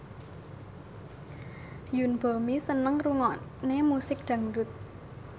Yoon Bomi seneng ngrungokne musik dangdut